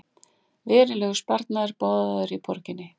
Verulegur sparnaður boðaður í borginni